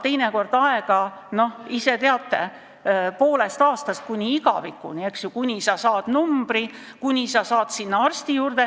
Teinekord võib võtta aega see, kuni sa saad numbri ja kuni sa saad arsti juurde, te ise teate, poolest aastast kuni igavikuni.